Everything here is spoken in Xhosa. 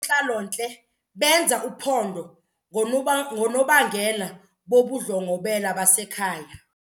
ntlalontle benza uphondo ngoonobangela bobundlobongela basekhaya.